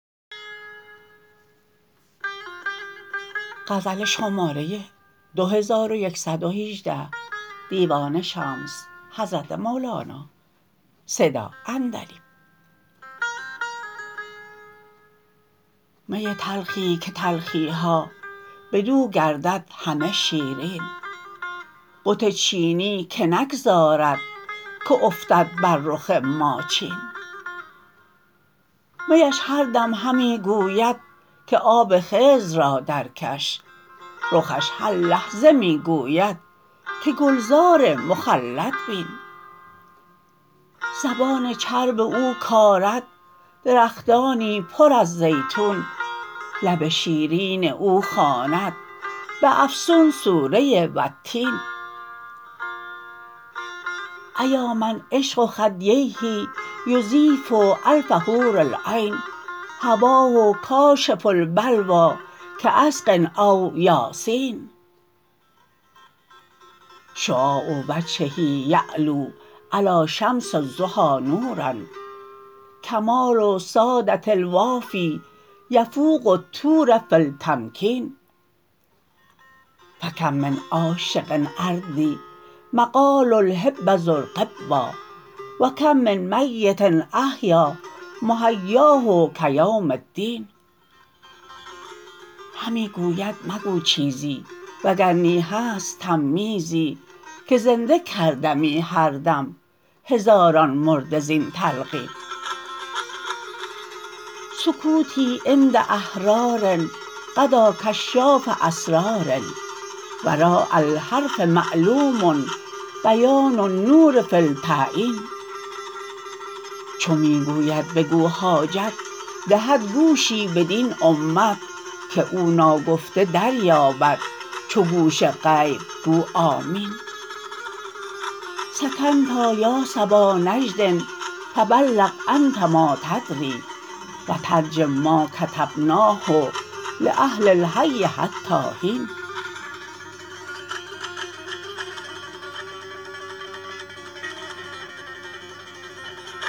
می تلخی که تلخی ها بدو گردد همه شیرین بت چینی که نگذارد که افتد بر رخ ما چین میش هر دم همی گوید که آب خضر را درکش رخش هر لحظه می گوید که گلزار مخلد بین زبان چرب او کارد درختانی پر از زیتون لب شیرین او خواند به افسون سوره والتین ایا من عشق خدیه یذیب الف حور العین هواه کاشف البلوی کعسق او یاسین شعاع وجهه یعلو علی شمس الضحی نورا کمال ساده الوافی یفوق الطور فی المتکین فکم من عاشق اردی مقال الحب زر غبا و کم من میت احیا محیاه کیوم الدین همی گوید مگو چیزی وگر نی هست تمییزی که زنده کردمی هر دم هزاران مرده زین تلقین سکوتی عند احرار غدا کشاف اسرار وراء الحرف معلوم بیان النور فی التعیین چو می گوید بگو حاجت دهد گوشی بدین امت که او ناگفته دریابد چو گوش غیب گو آمین سکتنا یا صبا نجد فبلغ انت ما تدری و ترجم ما کتمناه لاهل الحی حتی حین